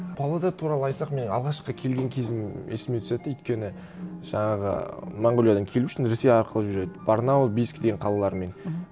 павлодар туралы айтсақ мен алғашқы келген кезім есіме түседі де өйткені жаңағы монғолиядан келу үшін ресей арқылы жүреді барнаул бийск деген қалалармен мхм